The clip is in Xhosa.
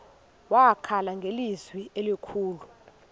wakhala ngelizwi elikhulu